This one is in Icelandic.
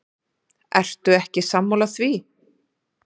Ertu ekki sammála því?